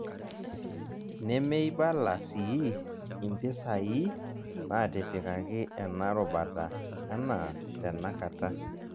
Nemeibala sii impisaai natipikaki ena rubata anaa tenakata.